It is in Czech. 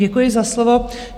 Děkuji za slovo.